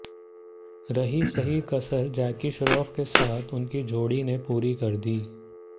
रही सही कसर जैकी श्रॉफ के साथ उनकी जोड़ी ने पूरी कर दी